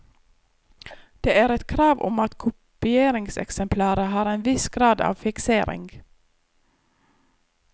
Det er et krav om at kopieringseksemplaret har en viss grad av fiksering.